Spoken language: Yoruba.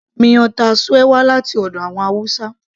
miyan taushe wá láti ọ̀dọ̀ àwọn hausa